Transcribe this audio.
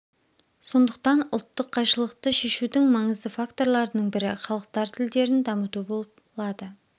сондықтан ұлттық қайшылықты шешудің маңызды факторының бірі халықтар тілдерін дамыту болып лады